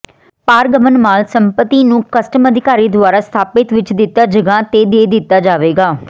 ਪਾਰਗਮਨ ਮਾਲ ਸੰਪਤੀ ਨੂੰ ਕਸਟਮ ਅਧਿਕਾਰੀ ਦੁਆਰਾ ਸਥਾਪਿਤ ਵਿੱਚ ਦਿੱਤਾ ਜਗ੍ਹਾ ਤੇ ਦੇ ਦਿੱਤਾ ਜਾਵੇਗਾ